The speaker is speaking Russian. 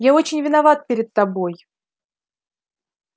я очень виноват перед тобой